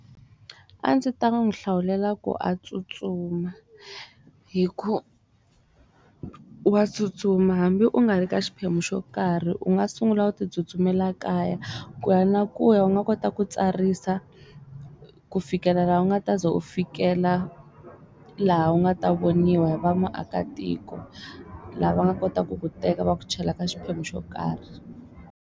A ndzi ta n'wi hlawulela ku a tsutsuma hi ku, wa tsutsuma hambi u nga ri ka xiphemu xo karhi u nga sungula u ti tsutsumela kaya ku ya na ku ya u nga kota ku ti tsarisa ku fikela laha u nga taze u fikelela laha u nga ta voniwa hi va maakatiko laha va nga kotaku ku teka va ku chela ka xiphemu xo karhi.